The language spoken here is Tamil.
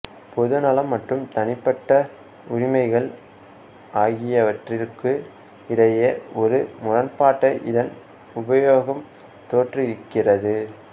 பொது நலம் மற்றும் தனிப்பட்ட உரிமைகள் ஆகியவற்றிக்கு இடையே ஒரு முரண்பாட்டை இதன் உபயோகம் தோற்றுவிக்கிறது